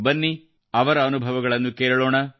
ಬನ್ನಿ ಅವರ ಅನುಭವಗಳನ್ನು ಕೇಳೋಣ